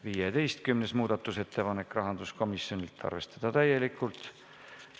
15. muudatusettepanek, rahanduskomisjonilt, arvestada täielikult.